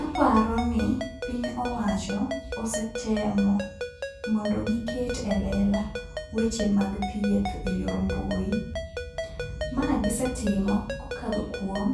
Aparo ni piny owacho osetemo mondo giket e lela weche mag thieth e yor mbui. Ma gisetimo kokadho kuom